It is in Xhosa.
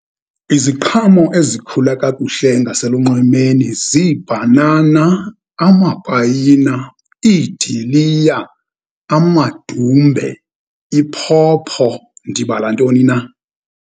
Iziqhamo ezikhula kakuhle ngaselunxwemeni ziibhanana, amapayina, iidiliya, amadumbe, iphopho. Ndibala ntoni na?